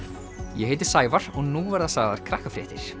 ég heiti Sævar og nú verða sagðar